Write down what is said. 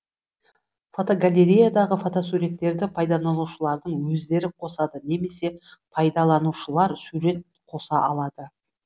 фотогалереядағы фотосуреттерді пайдаланушылардың өздері қосады немесе пайдаланушылар сурет қоса алады